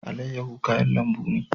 Alayyahu kayan lambu ne.